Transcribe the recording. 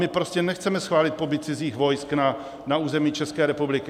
My prostě nechceme schválit pobyt cizích vojsk na území České republiky.